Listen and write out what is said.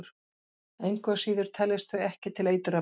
Engu að síður teljast þau ekki til eiturefna.